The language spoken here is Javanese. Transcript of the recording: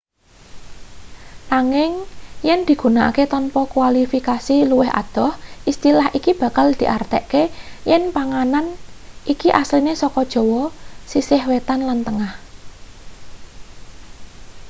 nanging yen digunakake tanpa kualifikasi luwih adoh istilah iki bakal diartekne yen panganan iki asline saka jawa sisih wetan lan tengah